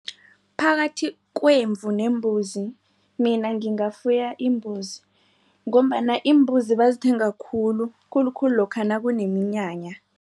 Phakathi kwemvu nembuzi mina ngingafuya imbuzi ngombana iimbuzi bazithenga khulu khulukhulu lokha nakuneminyanya.